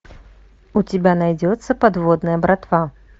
у тебя найдется подводная братва